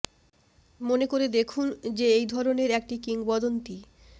মনে করে দেখুন যে এই ধরনের একটি কিংবদন্তি